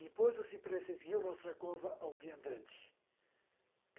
Depois o cipressa esguia o Mostrakova ao viandante.